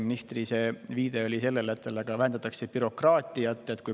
Ministri viide oli sellele, et vähendatakse bürokraatiat.